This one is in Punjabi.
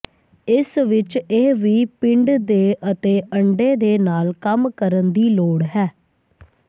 ਇਸ ਵਿਚ ਇਹ ਵੀ ਪਿੰਡ ਦੇ ਅਤੇ ਅੰਡੇ ਦੇ ਨਾਲ ਕੰਮ ਕਰਨ ਦੀ ਲੋੜ ਹੈ